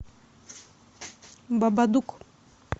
бабадук